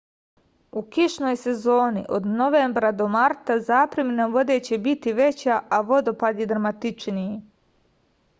у кишној сезони од новембра до марта запремина воде ће бити већа а водопади драматичнији